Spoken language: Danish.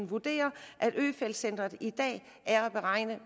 vurderer at øfeldt centret i dag er at regne